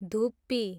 धुप्पी